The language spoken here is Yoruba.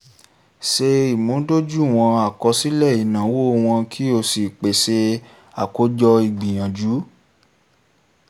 ṣe ìmúdójúìwọ̀n àkosile inawo wọn kí o sì pèsè àkójọ ìgbìyànjú